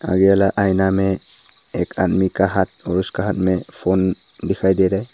ये वाला आईना में एक आदमी का हाथ और उसका हाथ में फोन दिखाई दे रहा है।